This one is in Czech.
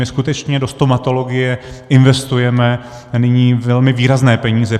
My skutečně do stomatologie investujeme nyní velmi výrazné peníze.